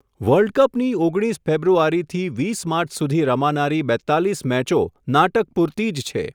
World કપની ઓગણીસ ફેબ્રુઆરીથી, વીસ માર્ચ સુધી રમાનારી બેતાલીસ મેચો નાટક પૂરતી જ છે.